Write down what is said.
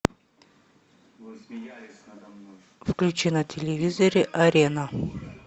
включи на телевизоре арена